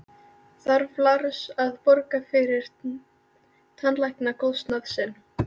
Þarf Lars að borga fyrir tannlæknakostnað sinn?